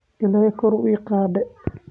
Illahey kor waiiqade.